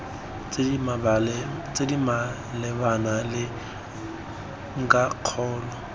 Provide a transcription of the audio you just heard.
tse di malebana le ntlhakgolo